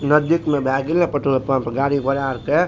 नजदीक में भाए गेल ने पेट्रोल पंप गाड़ी घोड़ा अर के --